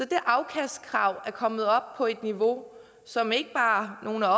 det afkastkrav er kommet op på et niveau som ikke bare nogle af